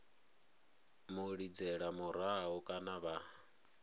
mu lidzela murahu kana vha